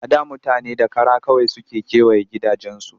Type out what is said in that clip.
A da mutane da kara kawai suke kewaye gidajensu